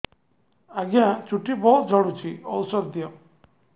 ଆଜ୍ଞା ଚୁଟି ବହୁତ୍ ଝଡୁଚି ଔଷଧ ଦିଅ